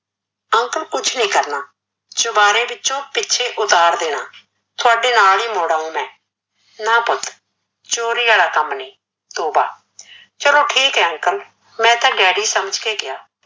uncle ਕੁਛ ਨੀ ਕਰਨਾ, ਚੁਬਾਰੇ ਪਿੱਛੋਂ ਪਿੱਛੇ ਉਤਾਰ ਦੇਣ ਤੁਹਾਡੇ ਨਾਲ ਈ ਮੂਡ ਆਉਂ ਮੈ, ਨਾਂ ਪੁੱਤ ਚੋਰੀ ਆਲ ਕੰਮ ਨੀ ਤੋਂਬਾ, ਚੱਲੋ ਠੀਕ ਏ uncle ਮੈਂ ਤਾਂ daddy ਸਮਝ ਕੇ ਕਿਆ